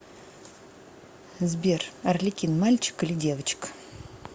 сбер арлекин мальчик или девочка